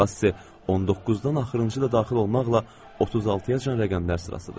Passi 19-dan axırıncı da daxil olmaqla 36-yacan rəqəmlər sırasıdır.